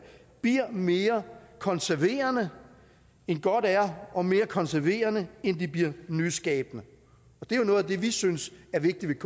bliver mere konserverende end godt er og mere konserverende end de bliver nyskabende det er jo noget af det som vi synes er vigtigt